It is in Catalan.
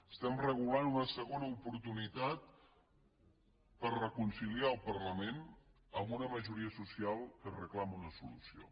estem regulant una segona oportunitat per reconciliar el parlament amb una majoria social que reclama una solució